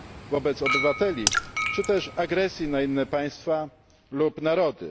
wobec obywateli czy też agresji na inne państwa lub narody.